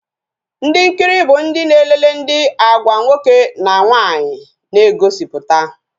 Ndi nkiri bụ ndị na-elele ihe Agwa nwoke na nwaanyị na egosiputa